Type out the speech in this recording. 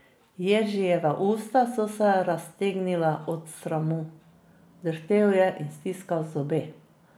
Jeržijeva usta so se raztegnila od sramu, drhtel je in stiskal zobe.